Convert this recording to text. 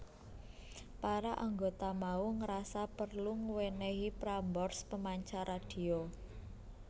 Para anggota mau ngrasa perlu ngewenehi Prambors pemancar radhio